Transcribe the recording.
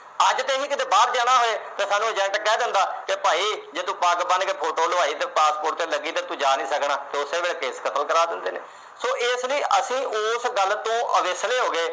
ਅੱਜ ਤੇ ਅਸੀਂ ਬਾਹਰ ਜਾਣਾ ਹੋਏ ਤਾਂ ਸਾਨੂੰ agent ਕਹਿ ਦਿੰਦਾ ਕਿ ਭਾਈ ਜੇ ਤੂੰ ਪੱਗ ਬੰਨ੍ਹ ਕੇ photo ਲੁਆਈ ਤੇ passport ਤੇ ਲੱਗੀ ਤੇ ਤੂੰ ਜਾ ਨੀ ਸਕਣਾ ਤੇ ਉਸੇ ਵੇਲੇ ਕੇਸ ਕਤਲ ਕਰਾ ਦਿੰਦੇ ਨੇ। so ਇਸ ਲਈ ਅਸੀਂ ਉਸ ਗੱਲ ਤੋਂ ਅਵੇਸਲੇ ਹੋ ਗਏ